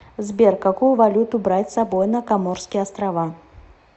сбер какую валюту брать с собой на коморские острова